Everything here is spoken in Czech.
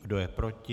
Kdo je proti?